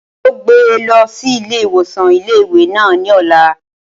Wọn yóò gbé e lọ sí ilé ìwòsàn ilé ìwé náà ní ọ̀la